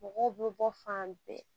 Mɔgɔw bɛ bɔ fan bɛɛ